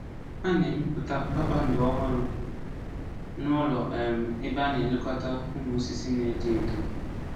A na-emepụta kpakpando ọhụrụ n'ụlọ um ebe a na-elekọta ụmụ osisi na-eto eto.